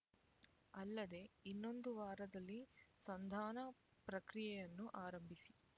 ಅಲ್ಲದೆ ಇನ್ನೊಂದು ವಾರದಲ್ಲಿ ಸಂಧಾನ ಪ್ರಕ್ರಿಯೆಯನ್ನು ಆರಂಭಿಸಿ